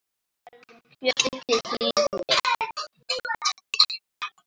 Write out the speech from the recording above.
Við berjum kjötið til hlýðni.